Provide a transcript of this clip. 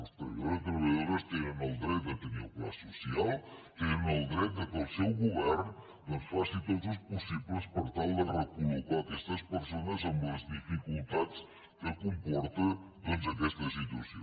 els treballadors i treballadores tenen el dret de tenir el pla social tenen el dret que el seu govern doncs faci tots els possibles per tal de recol·locar aquestes persones amb les dificultats que comporta doncs aquesta situació